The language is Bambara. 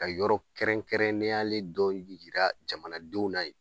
Ka yɔrɔ kɛrɛnkɛrɛnnenyalen dɔ yira jamanadenw na yen